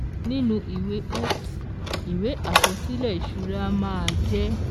Nínú ìwé X ìwé àkọsílẹ̀ ìṣura màa jẹ́: